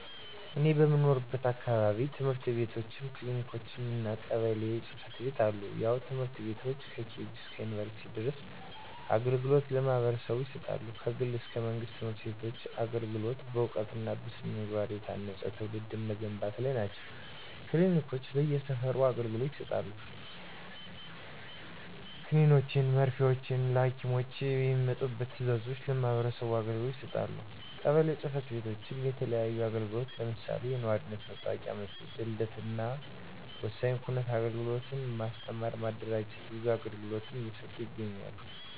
እኔ በምኖርበት አካባቢ፦ ትምህርት ቤትችም፣ ክሊኒኮችም እና ቀበሌ ጽ/ቤቶች አሉ። ያው ትምህርት ቤቶች ከኬጅ እስከ ዩንቨርስቲ ድረስ አገልግሎት ለማህበረሰቡ ይሰጣሉ። ከግል እስከ መንግስት ትምህርት ቤቶች አገልግሎት በእውቀት እና በስነ-ምግባ የታነፀ ትውልድ መገንባት ላይ ናቸው። ክሊኒኮች በየ ሰፈሩ አገልግሎት ይሰጣሉ። ከኒኖችን መርፊወችን ከሀኪም የሚመጡ ትዛዞችን ለማህበረሰቡ አገልግሎት ይሰጣሉ። ቀበሌ ፅ/ቤቶችም የተለያዩ አግልግሎቶችን ለምሳሌ፦ የኗሪነት መታወቂያ መስጠት፣ የልደት እናወሳኝ ኩነት አግልግሎት፣ ማስተማር ማደራጀት ብዙ አገልግሎት እየሰጡ ይገኛሉ።